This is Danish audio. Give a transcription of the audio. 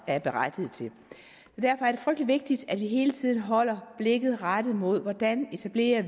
er berettiget til derfor er det frygtelig vigtigt at vi hele tiden holder blikket rettet imod hvordan vi etablerer